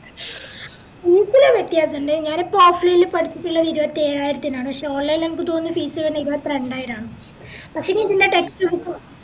fees ല് വ്യത്യാസണ്ട് ഞാനിപ്പോ offline പഠിച്ചിറ്റില്ലേ ഇരുപത്തേഴായിരത്തിനാണ് പക്ഷെ online എനക്ക് തോന്നുന്നേ fees വരുന്നേ ഇരുപത്രണ്ടായിരാന്ന് പഷേങ്കി ഇതിന്റെ textbook